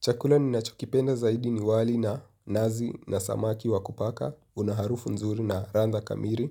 Chakula ninachokipenda zaidi ni wali na nazi na samaki wakupaka, unaharufu nzuri na radha kamili,